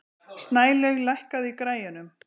Snælaug, lækkaðu í græjunum.